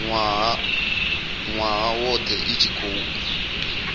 nwaha wothe i tshi khou